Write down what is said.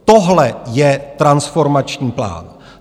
Tohle je transformační plán.